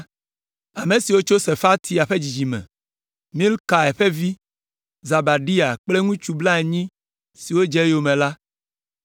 Ame siwo tso Sefatia ƒe dzidzime me: Mikael ƒe vi, Zebadia kple ŋutsu blaenyi siwo dze eyome la;